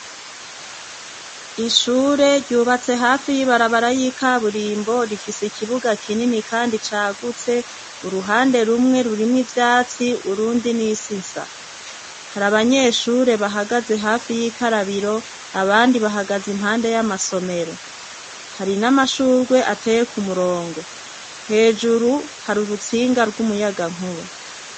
Ishure ryubatse hafi y'ibarabara y'ikaburimbo rifise ikibuga kinini kandi cagutse, uruhande rumwe rurimwo ivyatsi urundi n'isi nsa, hari abanyeshure bahagaze hafi y'ikarabiro abandi bahagaze impande y'amasomero, hari n'amashurwe ateye ku murongo, hejuru hari urutsinga rw'umuyagankuba.